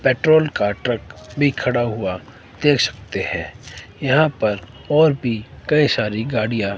petrol का truck भी खड़ा हुआ देख सकते हैं यहां पर और भी कई सारी गाड़ियां--